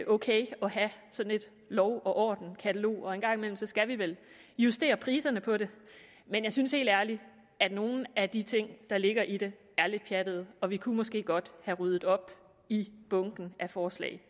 ok at have sådan et lov og orden katalog og en gang imellem skal vi vel justere priserne på det men jeg synes helt ærligt at nogle af de ting der ligger i det er lidt pjattede og vi kunne måske godt have ryddet op i bunken af forslag